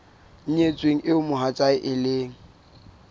nyetsweng eo mohatsae e leng